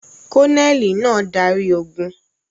Kọ́nẹ́ẹ́lì náà darí ogún.